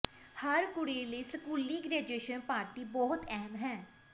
ਹਰ ਕੁੜੀ ਲਈ ਸਕੂਲੀ ਗ੍ਰੈਜੂਏਸ਼ਨ ਪਾਰਟੀ ਬਹੁਤ ਅਹਿਮ ਹੈ